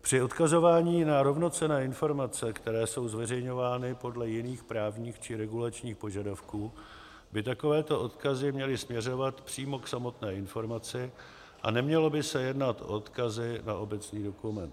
Při odkazování na rovnocenné informace, které jsou zveřejňovány podle jiných právních či regulačních požadavků, by takovéto odkazy měly směřovat přímo k samotné informaci a nemělo by se jednat o odkazy na obecný dokument.